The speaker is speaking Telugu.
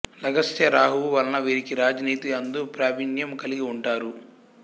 లగ్నస్థ రాహువు వలన వీరికి రాజనీతి అందు ప్రావీణ్యం కలిగి ఉంటారు